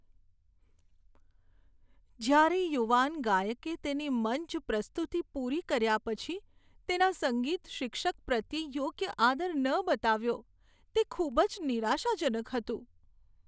જ્યારે યુવાન ગાયકે તેની મંચ પ્રસ્તુતિ પૂરી કર્યા પછી તેના સંગીત શિક્ષક પ્રત્યે યોગ્ય આદર ન બતાવ્યો, તે ખૂબ જ નિરાશાજનક હતું.